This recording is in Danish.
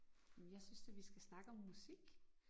Jamen jeg synes da vi skal snakke om musik